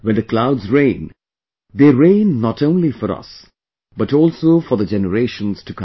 When the clouds rain, they rain not only for us, but also for the generations to come